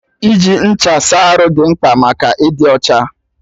Iji ncha saa arụ dị mkpa maka ịdị ọcha